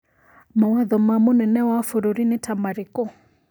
Mawatho ma mũnene wa bũrũri nĩ ta marĩkũ